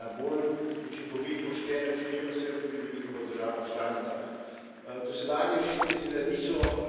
Zato želimo da bi evropska zakonodaja to uredila na bolj učinkovit, pošten način, je pa seveda tudi veliko v državah članicah.